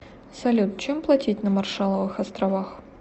салют чем платить на маршалловых островах